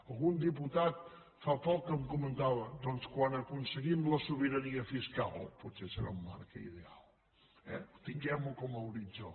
algun diputat fa poc em comentava doncs quan aconseguim la sobirania fiscal potser serà un marc ideal eh tinguem ho com a horitzó